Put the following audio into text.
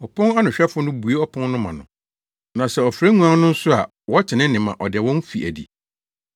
Ɔpon no anohwɛfo no bue ɔpon no ma no, na sɛ ɔfrɛ nguan no nso a wɔte ne nne ma ɔde wɔn fi adi.